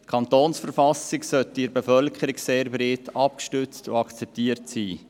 Die Kantonsverfassung sollte in der Bevölkerung sehr breit abgestützt und akzeptiert sein.